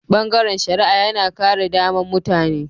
Bangaren shari'a yana kare daman mutane.